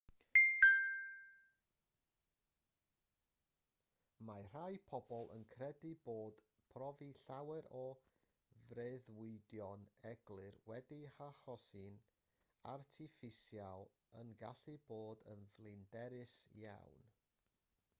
mae rhai pobl yn credu bod profi llawer o freuddwydion eglur wedi'u hachosi'n artiffisial yn gallu bod yn flinderus iawn